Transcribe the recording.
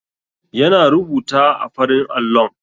Yana rubuta a farin allon.